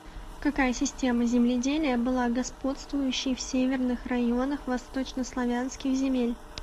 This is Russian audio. какая система земледелия была господствующей в северных районах восточнославянских земель